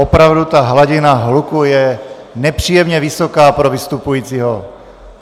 Opravdu ta hladina hluku je nepříjemně vysoká pro vystupujícího.